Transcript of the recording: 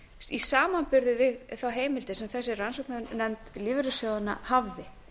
í samanburði við þær heimildir sem þessi rannsóknarnefnd lífeyrissjóðanna hafði